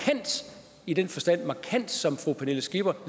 i den forstand som fru pernille skipper